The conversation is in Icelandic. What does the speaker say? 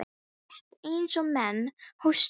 Nú, rétt eins og menn hósta.